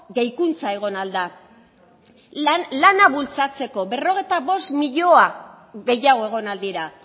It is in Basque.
gehikuntza egon ahal da lana bultzatzeko berrogeita bost milioi gehiago egon ahal dira